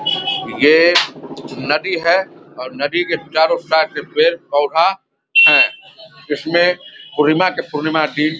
ये नदी है और नदी के चारों साइड पर पेड़ पौधा है इसमें पूर्णिमा के पूर्णिमा की --